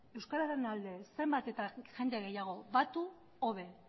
euskararen alde zenbat eta jende gehiago batu hobe